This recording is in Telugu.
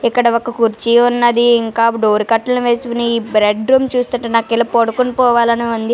ఇక్కడ ఒక కుర్చీ ఉన్నది ఇంకా డోర్ కర్టెన్ వేసి బెడ్ రూమ్ చూస్తుంటే నాకు ఇలా పడుకొని పోవాలి అని ఉంది--